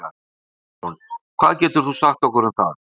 Andri Ólafsson: Hvað getur þú sagt okkur um það?